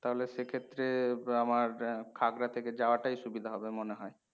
তাহলে সেক্ষেত্রে তো আমার থাকা থেকে যাওয়াটাই সুবিধা হবে মনে হয়।